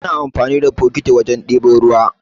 Ana amfani da bokiti wajen ɗebo ruwa